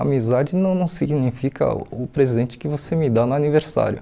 Amizade não não significa o presente que você me dá no aniversário.